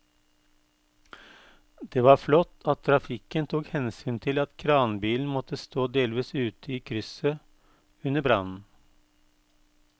Det var flott at trafikken tok hensyn til at kranbilen måtte stå delvis ute i krysset under brannen.